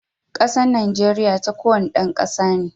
Kasan Najeriya ta kowane dan kasa ne.